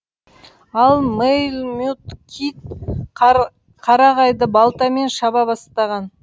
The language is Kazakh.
ал мэйлмют кид қара қарағайды балтамен шаба бастаған